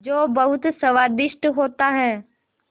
जो बहुत स्वादिष्ट होता है